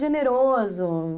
Generoso.